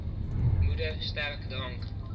moeder sterk drank